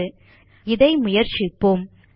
இதை முயற்சிப்போம் நம் புரோகிராம் க்கு திரும்புவோம்